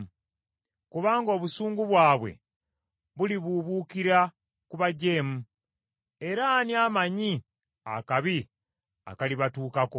Kubanga obusungu bwabwe bulibuubuukira ku bajeemu era ani amaanyi akabi akalibatuukako?